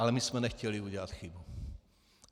Ale my jsme nechtěli udělat chybu.